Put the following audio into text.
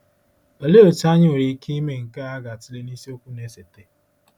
Olee otú anyị nwere ike ime nke a ga-atụle na isiokwu na-esote.